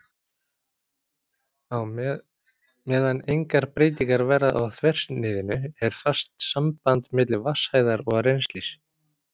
Meðan engar breytingar verða á þversniðinu er fast samband milli vatnshæðar og rennslis.